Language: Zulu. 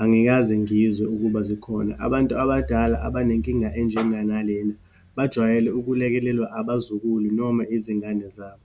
Angikaze ngizwe ukuba zikhona. Abantu abadala, abanenkinga enjengangalena bajwayele ukulekelelwa abazukulu noma izingane zabo.